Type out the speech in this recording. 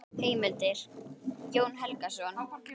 Heimildir: Jón Helgason.